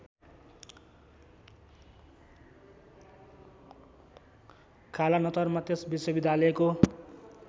कालानतरमा त्यस विश्वविद्यालयको